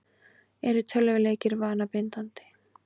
Eru tölvuleikir vanabindandi?